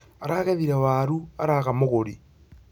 Aragethire waaru araaga mũgũri